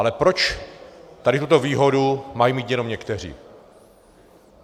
Ale proč tady tuto výhodu mají mít jenom někteří?